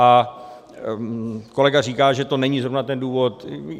A kolega říká, že to není zrovna ten důvod.